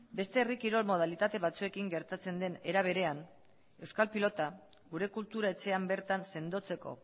beste herri kirol modalitate batzuekin gertatzen den era berean euskal pilota gure kultura etxean bertan sendotzeko